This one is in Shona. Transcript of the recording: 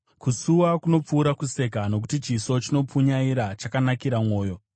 Kusuwa kunopfuura kuseka, nokuti chiso chinopunyaira chakanakira mwoyo.